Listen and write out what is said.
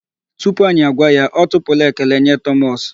Tupu anyị agwa ya, ọ tụpụla ekele nye Thomas.